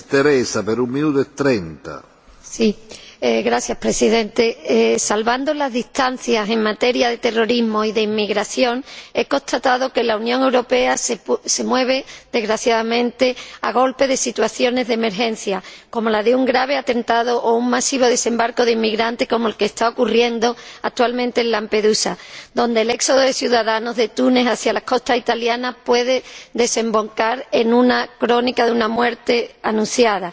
Señor Presidente, salvando las distancias en materia de terrorismo y de inmigración, he constatado que la Unión Europea se mueve, desgraciadamente, a golpe de situaciones de emergencia, como la de un grave atentado o un masivo desembarco de inmigrantes, como el que está ocurriendo actualmente en Lampedusa, donde el éxodo de ciudadanos de Túnez hacia las costas italianas puede desembocar en una crónica de una muerte anunciada.